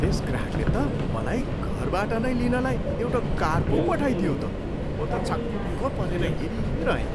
त्यस ग्राहकले त मलाई घरबाट नै लिनलाई एउटा कार पो पठाइदियो त। म त छक्क परेर हेरिरहेँ।